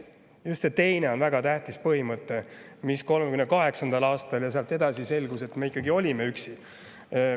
Just see teine on väga tähtis põhimõte, sest 1938. aastal ja sealt edasi oli selge, et me ikkagi olime üksi.